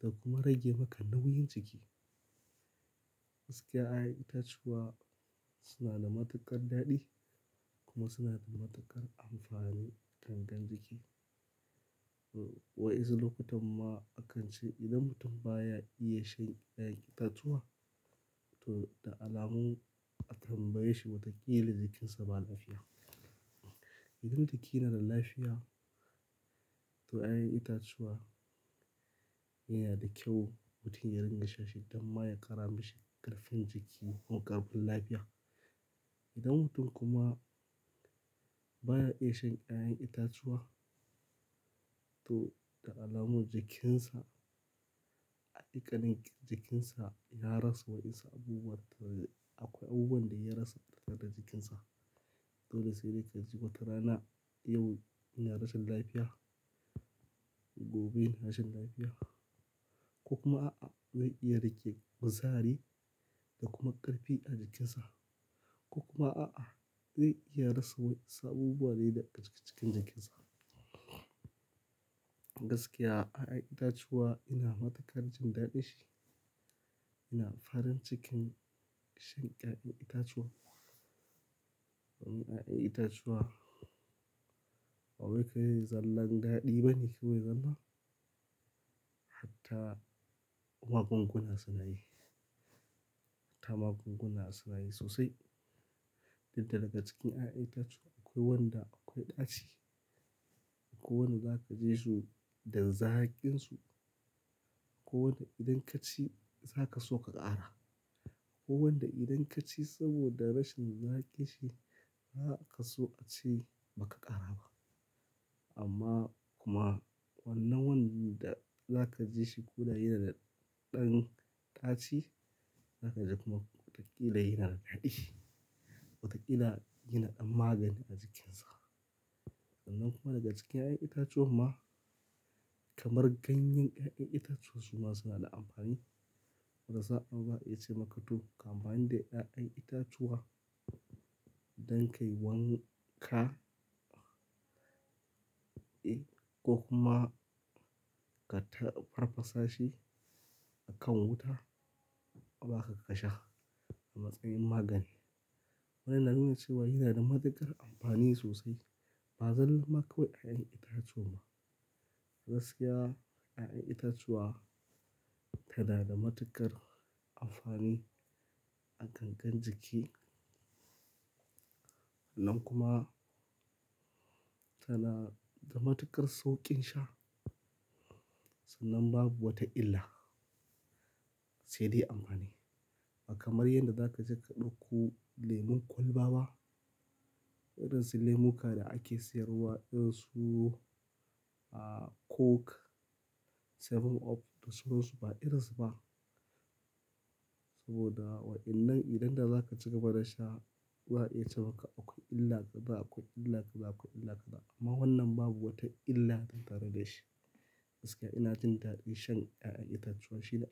da kuma rage maka nauyin jiki. Gaskiya, yayan itatuwa suna da matuƙar daɗi kuma suna da matuƙar amfani gangar jiki. Wa insu lokutan ma akan ce idan mutum baya iya shan kayan itatuwa to da alamun a tambaye shi watakila jikinsa ba lafiya. Idan jiki yana da lafiya to yayan itatuwa yana da kyau mutum ya ringa shan shi don ma ya ƙara mishi ƙarfin jiki ko ƙarfin lafiya. Idan mutum kuma baya iya shan yayan itatuwa to da alamun jikinsa, haƙiƙanin jikinsa ya rasa wa insu abubuwa, akwai abubuwan da ya rasa tare da jikinsa. Dole sai dai ka ji watarana yau ina rashin lafiya, gobe rashin lafiya. Ko kuma a'a zai iya rage kuzari da kuma ƙarfi a jikinsa, ko kuma a'a zai iya rasa wa insu abubuwa ne da aka cika cikin jikinsa. Gaskiya yayan itatuwa ina matuƙar jin daɗin shi, ina farin cikin shan yayan itatuwa. Don yayan itatuwa, ba wai kai zallan daɗi ba ne kawai zalla, hatta magunguna suna yi, hatta magunguna suna yi sosai. Dikda daga cikin yayan itatuwa akwai wanda akwai ɗaci, akwai wanda za ka ji su da zakin su, akwai wanda idan ka ci za ka so ka ƙara, akwai wanda idan ka ci saboda rashin zaki shi ba za ka so a ce ba ka ƙara ba. Amma kuma wannan wanda za ka ji shi guda yana da ɗan ɗaci, za ka ji kuma watakila yana da daɗi, watakila yana ɗan magani a cikinsa. Sannan kuma daga cikin yayan itatuwan ma kamar ganyen yayan itatuwa suma, suna da amfani. Wata sa'a za a iya ce maka to ka amfani da da ƴayan itatuwa don kai wanka, eh ko kuma ka farfasa shi a kan wuta kuma a ba ka kasha a matsayin magani. Wannan na nuna cewa yana da matuƙar amfani sosai, ba zallan ma kawai yayan itatuwan ba. Gaskiya yayan itatuwa tanada matuƙar amfani a gangar jiki, sannan kuma tanada da matuƙar sauƙin sha. Sannan babu wata illa sai dai amfani. Ba kamar yadda za ka je ka ɗauko lemun kwalba ba, irin su lemuka da ake siyarwa, irin su a Coke, 7up da sauran su ba irin su ba. Saboda wa'innan idan da za ka ci gaba da sha za a iya ce maka akwai illa kaza akwai illa kaza akwai illa kaza. Amma wannan babu wata illa tattare da shi. Gaskiya ina jin daɗin shan yayan itatuwa shi da.